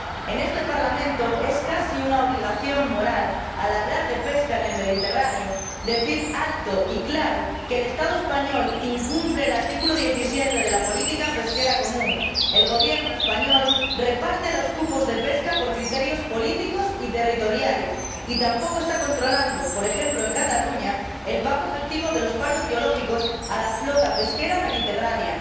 En este Parlamento es casi una obligación moral, al hablar de pesca en el Mediterráneo, decir alto y claro que el Estado español incumple el artículo 17 de la política pesquera común. El Gobierno español reparte los cupos de pesca por criterios políticos y territoriales y tampoco está controlando, por ejemplo en Cataluña, el pago efectivo de los paros biológicos a la flota pesquera mediterránea.